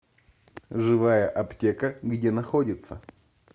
живая аптека где находится